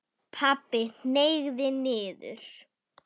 Pabbi hneig niður.